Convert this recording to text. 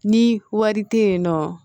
Ni wari te yen nɔ